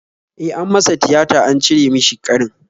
E, an masa tiyata an cire mishi ƙarin